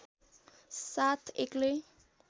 साथ एक्लै